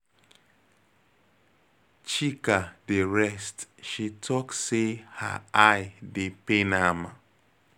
Chika dey rest she talk say her eye dey pain am.